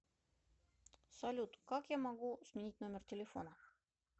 салют как я могу сменить номер телефона